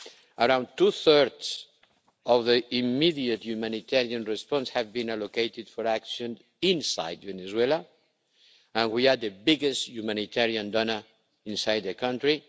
Around two-thirds of the immediate humanitarian response have been allocated for action inside Venezuela, and we are the biggest humanitarian donor inside the country.